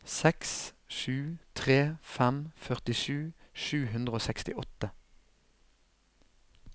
seks sju tre fem førtisju sju hundre og sekstiåtte